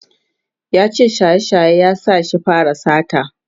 yace shaye shaye ya sa ya fara sata